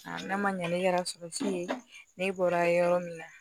n'a ma ɲɛ ne kɛra ne bɔra yɔrɔ min na